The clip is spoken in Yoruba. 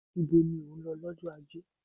Ibo ni ò ń lọ lọ́jọ́ ajé?